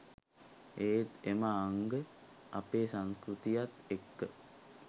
ඒත් එම අංග අපේ සංස්කෘතියත් එක්ක